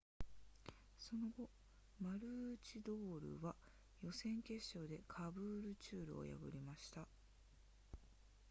その後マルーチドールは予選決勝でカブールチュールを破りました